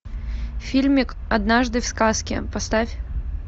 фильмик однажды в сказке поставь